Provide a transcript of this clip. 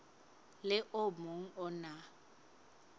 le o mong o na